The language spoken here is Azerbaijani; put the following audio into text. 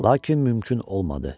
Lakin mümkün olmadı.